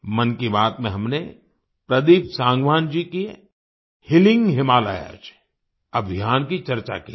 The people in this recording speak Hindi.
मन की बात में हमने प्रदीप सांगवान जी के हीलिंग हिमालयाज़ अभियान की चर्चा की थी